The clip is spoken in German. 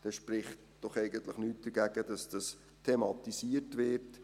Dann spricht doch eigentlich nichts dagegen, dass das thematisiert wird.